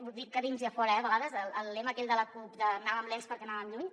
ho dic a dins i a fora eh a vegades el lema aquell de la cup d’ anàvem lents perquè anàvem lluny